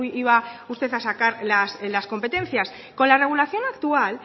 iba usted a sacar las competencias con la regulación actual